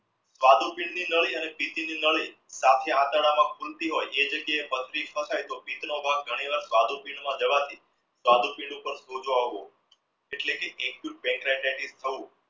નડી અને નડી સાથે આતરડા માં ખૂલતી હોય છે એ જાગીય એ ભાગ ઘણી વાર પર સોજો આવવો એટલે કે થવું